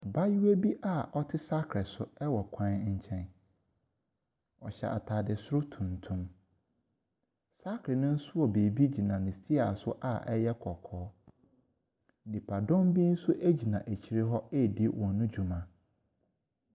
Abaayewa bi a ɔte saakerɛ so wɔ kwankyɛn. Na ɔhyɛ ataadeɛ soro tuntum. Saakerɛ no nso wɔ biribi wɔ ne steer so a ɛyɛ kɔkɔɔ. Nnipa dɔm bbi nso gyina akyire hɔ ɛredi wɔn adwuma.